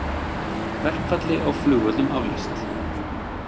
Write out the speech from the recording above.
Verkfalli á flugvöllum aflýst